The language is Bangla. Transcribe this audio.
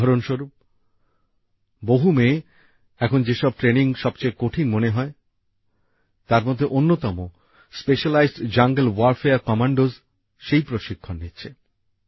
উদাহরণস্বরুপ বহু মেয়ে এখন যেসব ট্রেনিং সবচেয়ে কঠিন মনে করে হয় তার মধ্যে অন্যতম স্পেশালাইজড জাঙ্গল ওয়য়ারফেয়ার কম্যান্ডোর প্রশিক্ষণও নিচ্ছে